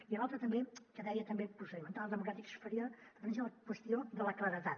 i l’altre també que deia també procedimentals democràtics faria referència a la qüestió de la claredat